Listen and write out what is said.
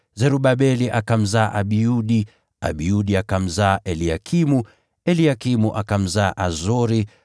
Zerubabeli akamzaa Abiudi, Abiudi akamzaa Eliakimu, Eliakimu akamzaa Azori,